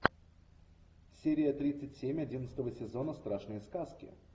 серия тридцать семь одиннадцатого сезона страшные сказки